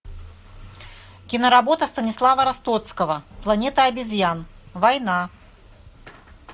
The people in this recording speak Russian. киноработа станислава ростоцкого планета обезьян война